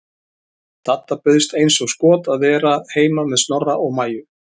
Dadda bauðst eins og skot til að vera heima með Snorra og Maju.